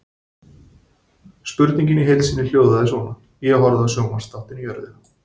Spurningin í heild sinni hljóðaði svona: Ég horfði á sjónvarpsþáttinn Jörðina.